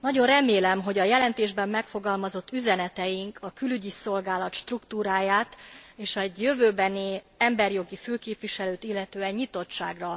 Nagyon remélem, hogy a jelentésben megfogalmazott üzeneteink a Külügyi Szolgálat struktúráját és egy jövőbeni emberi jogi főképviselőt illetően nyitottságra